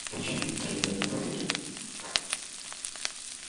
включи андрея аверина